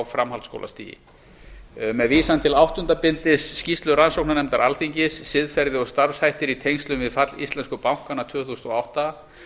framhaldsskólastigi með vísan til áttunda bindis skýrslu rannsóknarnefndar alþingis siðferði og starfshættir í tengslum við fall íslensku bankanna tvö þúsund og átta